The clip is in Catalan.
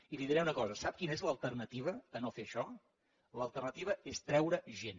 i li diré una cosa sap quina és l’alternativa a no fer això l’alternativa és treure gent